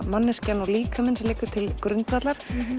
manneskjan og líkaminn sem liggja til grundvallar